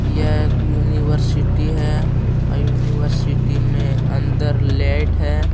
यह यूनिवर्सिटी है यूनिवर्सिटी में अंदर लाइट है।